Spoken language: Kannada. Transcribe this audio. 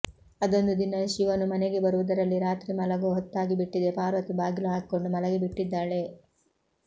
ಅದೊಂದು ದಿನ ಶಿವನು ಮನೆಗೆ ಬರುವುದರಲ್ಲಿ ರಾತ್ರಿ ಮಲಗುವ ಹೊತ್ತಾಗಿ ಬಿಟ್ಟಿದೆ ಪಾರ್ವತಿ ಬಾಗಿಲು ಹಾಕಿಕೊಂಡು ಮಲಗಿ ಬಿಟ್ಟಿದ್ದಾಳೆ